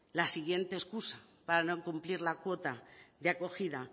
la siguiente excusa para no cumplir la cuota de acogida